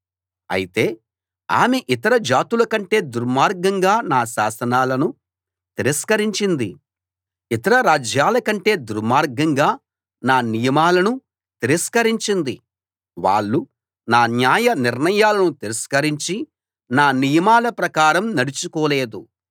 అయితే ఆమె ఇతర జాతుల కంటే దుర్మార్గంగా నా శాసనాలను తిరస్కరించింది ఇతర రాజ్యాల కంటే దుర్మార్గంగా నా నియమాలను తిరస్కరించింది వాళ్ళు నా న్యాయ నిర్ణయాలను తిరస్కరించి నా నియమాల ప్రకారం నడుచుకోలేదు